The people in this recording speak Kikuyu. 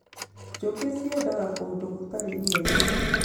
Njũkĩ ciendaga kũndũ gũtarĩ inegene